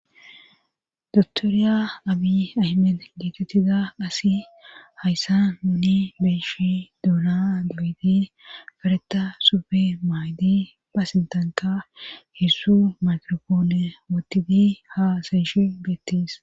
Doktoriya abi ahmen gietettida qasi hayssa muni beeshe duuna dabidi fareta sufe maaydi paasintanka heessu makiropoone wotiti haa sayshi geettis.